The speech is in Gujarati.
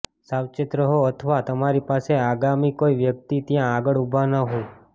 સાવચેત રહો અથવા તમારી પાસે આગામી કોઈ વ્યક્તિ ત્યાં આગળ ઊભો ન હોય